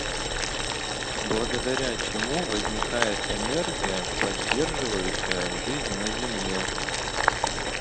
благодаря чему возникает энергия поддерживающая жизнь на земле